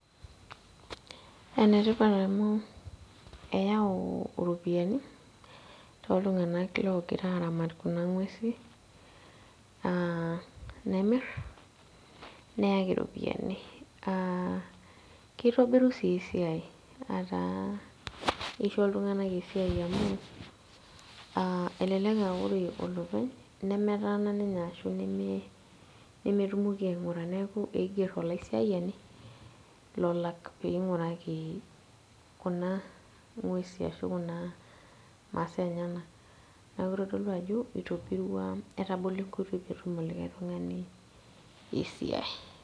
Enetipat amu eau iropiyiani, toltung'anak logira aramat kuna ng'uesi, ah nemir, neaki iropiyiani. Kitobiru si esiai ataa kisho iltung'anak esiai amu, elelek ah ore olopeny, nemetaana ninye ashu nemetumoki aing'ura. Neeku eiger olaisiayani, lolak peing'uraki kuna ng'uesi ashu kuna masaa enyanak. Neeku kitodolu ajo, itobirua etabolo enkoitoi petum olikae tung'ani esiai.